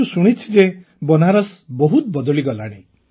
କିନ୍ତୁ ଶୁଣିଛି ଯେ ବନାରସ ବହୁତ ବଦଳିଗଲାଣି